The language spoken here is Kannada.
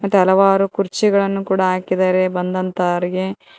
ಮತ್ ಹಲವಾರು ಕುರ್ಚಿಗಳನ್ನು ಕೂಡ ಹಾಕಿದ್ದಾರೆ ಬಂದಂತವರಿಗೆ.